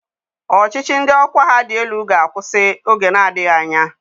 Ọchịchị ndị ọkwa ha dị elu ga-akwụsị oge na-adịghị anya.